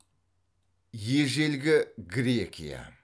ежелгі грекия